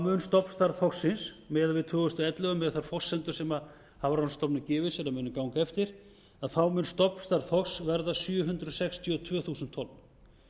mun stofnstærð þorsksins miðað við tvö þúsund og ellefu miðað við þær forsendur sem hafrannsóknastofnun gefur sér að muni ganga eftir að þá mun stofnstærð þorsks verða sjö hundruð sextíu og tvö þúsund tonn